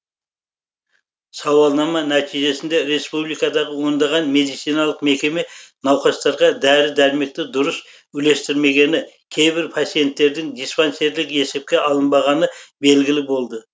сауалнама нәтижесінде республикадағы ондаған медициналық мекеме науқастарға дәрі дәрмекті дұрыс үлестірмегені кейбір пациенттердің диспансерлік есепке алынбағаны белгілі болды